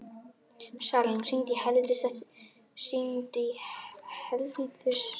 Salín, hringdu í Helvítus eftir sjötíu mínútur.